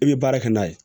I bɛ baara kɛ n'a ye